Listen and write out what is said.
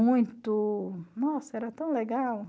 Muito... Nossa, era tão legal.